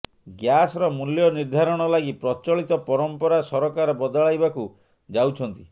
ଗ୍ୟାସ୍ର ମୂଲ୍ୟ ନିର୍ଦ୍ଧାରଣ ଲାଗି ପ୍ରଚଳିତ ପରମ୍ପରା ସରକାର ବଦଳାଇବାକୁ ଯାଉଛନ୍ତି